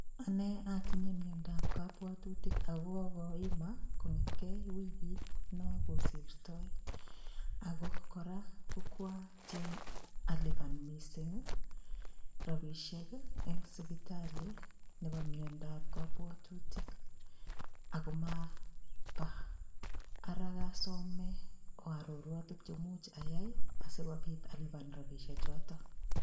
Ane atinye miondap kabwatutik akokokoima kong'etgei wikitno kosirtoi. Akokwatiem alipan mising rabishek eng sipitali nebo miandap kabwatutik ako maba ara kasome oarorwa tukche much ayai asikobit alipan chepkondochotok.